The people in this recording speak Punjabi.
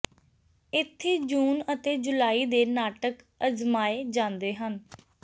ਇੱਥੇ ਜੂਨ ਅਤੇ ਜੁਲਾਈ ਦੇ ਨਾਟਕ ਅਜ਼ਮਾਏ ਜਾਂਦੇ ਹਨ